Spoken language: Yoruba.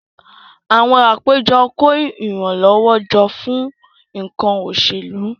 Àwọn àpéjọ kó ìrànlọ́wọ́ jọ fún nǹkan òṣèlú